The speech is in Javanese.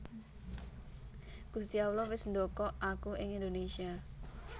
Gusti Allah wis ndokok aku ing Indonésia